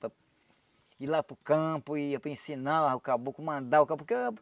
Para ir lá para o campo, ir para ensinar o caboclo, mandar o caboclo ah.